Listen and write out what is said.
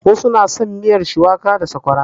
Wasu na son miyar shuwaka da sakwara.